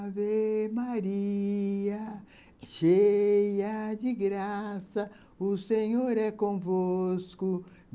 Ave Maria, cheia de graça, o Senhor é convosco.